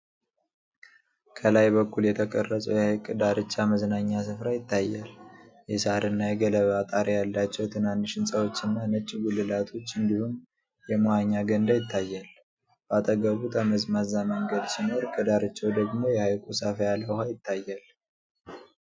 ከላይ በኩል የተቀረጸው የሐይቅ ዳርቻ መዝናኛ ሥፍራ ይታያል። የሳርና የገለባ ጣሪያ ያላቸው ትናንሽ ሕንጻዎችና ነጭ ጉልላቶች፣ እንዲሁም የመዋኛ ገንዳ ይታያል። በአጠገቡ ጠመዝማዛ መንገድ ሲኖር፣ ከዳርቻው ደግሞ የሐይቁ ሰፋ ያለ ውሃ ይታያል።